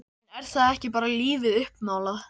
En er það ekki bara lífið uppmálað?